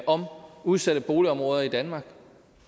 om udsatte boligområder i danmark